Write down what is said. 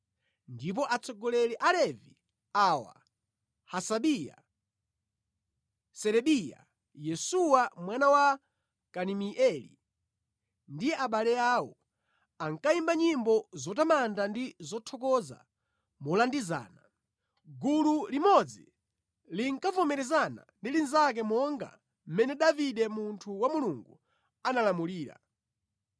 Ndipo atsogoleri a Alevi awa, Hasabiya, Serebiya, Yesuwa mwana wa Kadimieli ndi abale awo, ankayimba nyimbo zotamanda ndi zothokoza molandizana. Gulu limodzi linkavomerezana ndi linzake monga mmene Davide munthu wa Mulungu analamulira.